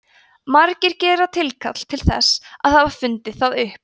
margir gera tilkall til þess að hafa fundið það upp